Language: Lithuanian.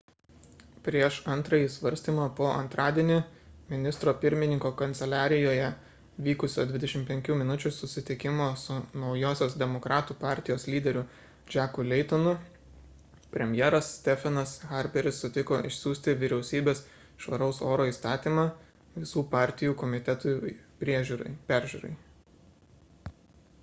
prieš antrąjį svarstymą po antradienį ministro pirmininko kanceliarijoje vykusio 25 minučių susitikimo su naujosios demokratų partijos lyderiu jacku laytonu premjeras stephenas harperis sutiko išsiųsti vyriausybės švaraus oro įstatymą visų partijų komitetui peržiūrai